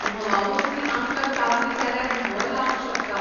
म्होंवामूस बी आमकां चाबली जाल्यार म्होंव लावं शकता.